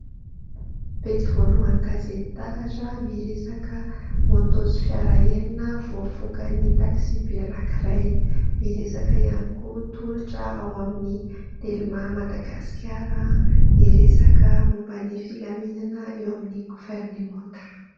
Pejy voalohany ny gazety Taratra miresaka "Moto" sy fiara enina voafoakan'ny "Taxi Be" anankiray, miresaka ihany koa tolotra ao amin'ny "Telma Madagasikara", miresaka momban'ny filaminana eo amin'ny governemanta.